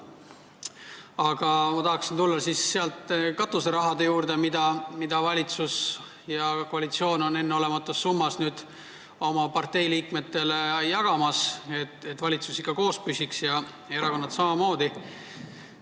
Aga ma tahaksin tulla katuserahade juurde, mida valitsus ja koalitsioon tahab enneolematus summas oma partei liikmetele jagada, et valitsus ja erakonnad ikka püsiks.